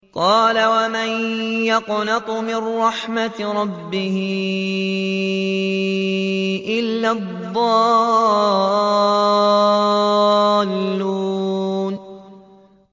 قَالَ وَمَن يَقْنَطُ مِن رَّحْمَةِ رَبِّهِ إِلَّا الضَّالُّونَ